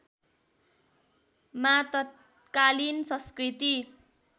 मा तत्कालीन संस्कृति